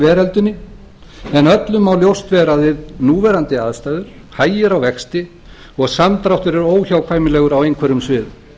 veröldinni en öllum má ljóst vera að við núverandi aðstæður hægir á vexti og samdráttur er óhjákvæmilegur á einhverjum sviðum þá